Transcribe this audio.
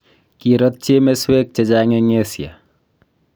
kirotchi emeswek chechang eng' Asia